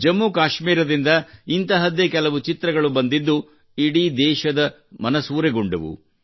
ಜಮ್ಮು ಕಾಶ್ಮೀರದಿಂದ ಇಂತಹದ್ದೇ ಕೆಲವು ಚಿತ್ರಗಳು ಬಂದಿದ್ದು ಇಡೀ ದೇಶದ ಮನಸೂರೆಗೊಂಡವು